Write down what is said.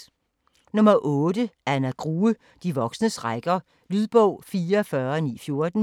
8. Grue, Anna: De voksnes rækker Lydbog 44914